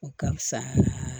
O ka fisa